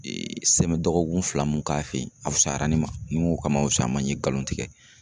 Ee dɔgɔkun fila mun k'a fe yen, a fisayara ne ma. Ni n go ka ma fusaya n ma n ye galon tigɛ.